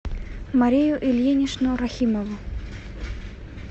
марию ильиничну рахимову